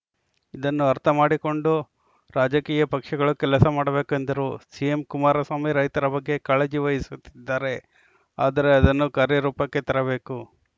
ಇದನ್ನು ಅರ್ಥಮಾಡಿಕೊಂಡು ರಾಜಕೀಯ ಪಕ್ಷಗಳು ಕೆಲಸಮಾಡಬೇಕು ಎಂದರು ಸಿಎಂ ಕುಮಾರಸ್ವಾಮಿ ರೈತರ ಬಗ್ಗೆ ಕಾಳಜಿ ವಹಿಸುತ್ತಿದ್ದಾರೆ ಆದರೆ ಅದನ್ನು ಕಾರ್ಯರೂಪಕ್ಕೆ ತರಬೇಕು